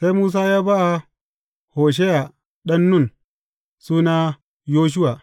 Sai Musa ya ba Hosheya ɗan Nun, suna Yoshuwa.